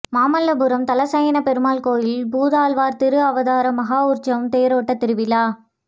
மாமல்லபுரம் தலசயனப் பெருமாள் கோயிலில் பூதத்தாழ்வாா் திருஅவதார மகோற்சவம் தேரோட்ட திருவிழா